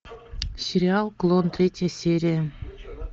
сериал клон третья серия